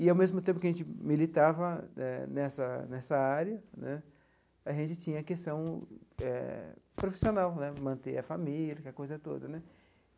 E, ao mesmo tempo que a gente militava eh nessa nessa área né, a gente tinha a questão eh profissional né, manter a família, aquela coisa toda né.